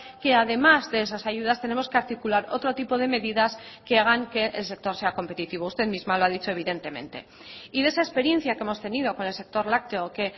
que además de esas ayudas tenemos que articular otro tipo de medidas que hagan que el sector sea competitivo usted misma lo ha dicho evidentemente y de esa experiencia que hemos tenido con el sector lácteo que